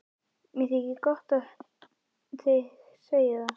Mér þykir gott að heyra þig segja það.